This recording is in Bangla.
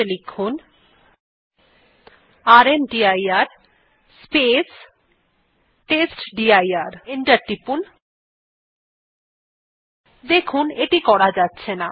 এন্টার টিপুন দেখুন এটি করা যাচ্ছে না